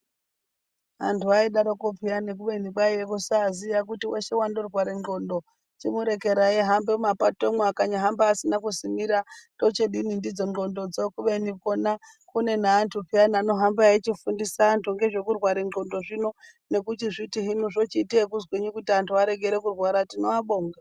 Anthu aidarokwo pheyani, kube kwaiye kusaaziya, weshe wandorware ndxondo, chimurekerai ahambe mumapatomwo, akanyahambe asina kusimira tochadini ndidzo ndxondo dzo. Kubeni kwona kune neanthu pheyani anohamba eichifundisa vanthu ngezvekurwara ngqondo zvino nekuchifundisa kuti hino zvochiita ekuzwinyi kuti anthu arekere kurwara, tinoabonga.